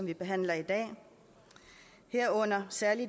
vi behandler i dag herunder særlig